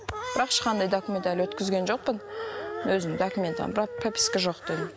бірақ ешқандай документ әлі өткізген жоқпын өзім документім бірақ прописка жоқ дедім